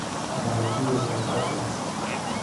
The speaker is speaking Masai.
Etalaikine aitasho.